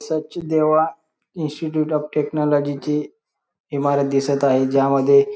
Sachdeva Institute of Technology ची इमारत दिसत आहे ज्या मध्ये--